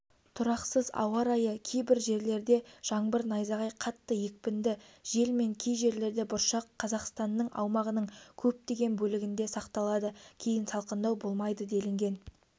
тұрақсыз ауа-райы кейбір жерлердежаңбыр найзағай қатты екпінді жел мен кей жерлерде бұршақ қазақстанның аумағының көптеген бөлігінде сақталады кейін салқындау болмайды делінген